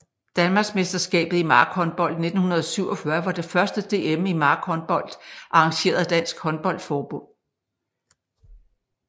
Danmarksmesterskabet i markhåndbold 1947 var det første DM i markhåndbold arrangeret af Dansk Håndbold Forbund